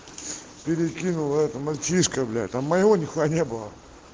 перекинула это мальчишка бля там моего нихуя не было